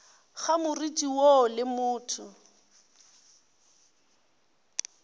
ga moriti woo le motho